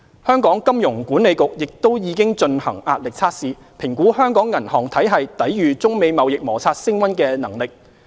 香港金融管理局亦已進行壓力測試，評估香港銀行體系抵禦中美貿易摩擦升溫的能力。